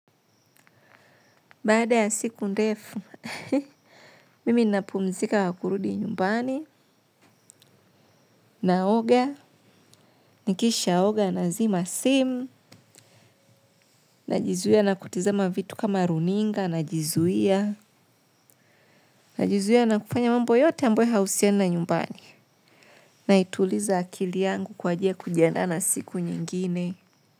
Baada ya siku ndefu, mimi napumzika kwa kurudi nyumbani, naoga, nikisha oga nazima simu, najizuia na kutizama vitu kama runinga, najizuia, najizuia na kufanya mambo yote amboyo hauhusiani na nyumbani. Naituliza akili yangu kwa ajili ya kujiandaa na siku nyingine.